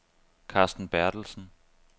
Carsten Berthelsen